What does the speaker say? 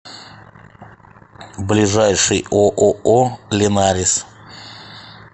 ближайший ооо линарис